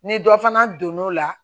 Ni dɔ fana donn'o la